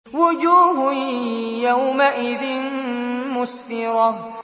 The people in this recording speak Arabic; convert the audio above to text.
وُجُوهٌ يَوْمَئِذٍ مُّسْفِرَةٌ